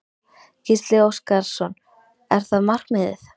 Gísli Óskarsson: Er það markmiðið?